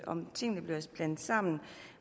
om tingene bliver blandet sammen